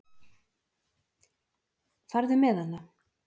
Farðu með hana.